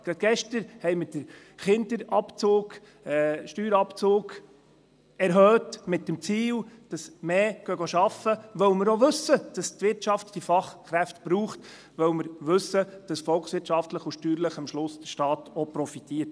Gerade gestern haben wir den Steuerabzug für Kinder erhöht, mit dem Ziel, dass mehr arbeiten gehen, weil wir wissen, dass die Wirtschaft diese Fachkräfte braucht, weil wir wissen, dass der Staat volkswirtschaftlich und steuerlich auch davon profitiert.